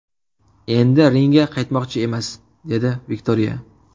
Endi ringga qaytmoqchi emas”, dedi Viktoriya.